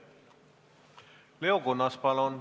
Leo Kunnas, palun!